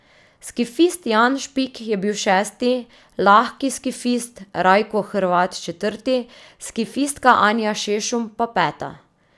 Skifist Jan Špik je bil šesti, lahki skifist Rajko Hrvat četrti, skifistka Anja Šešum pa peta.